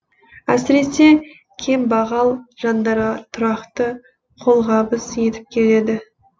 әсіресе кембағал жандарға тұрақты қолғабыс етіп келеді